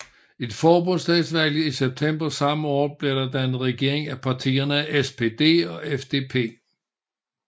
Efter forbundsdagsvalget i september samme år blev der dannet regering af partierne SPD og FDP